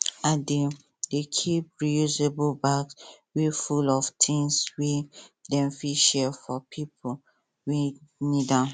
i dey dey keep reusable bags wey full of things wey dem fit share for dem wey need am